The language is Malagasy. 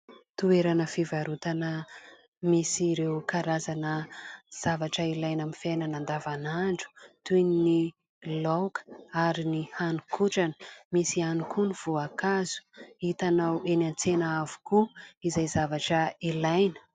Toerana fivarotana misy ireo karazana zavatra ilaina amin'ny fiainana an-davan'andro toy ny laoka ary ny hani-kotrana misy ihany koa ny voankazo hitanao eny an-tsena avokoa izay zavatra ilaina.